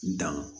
Dan